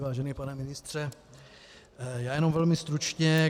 Vážený pane ministře, já jenom velmi stručně.